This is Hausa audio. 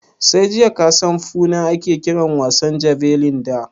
Sai jiya kasan Foona ake kiran wasan jabelin da?